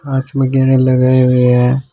कांच में गहने लगाए हुए है।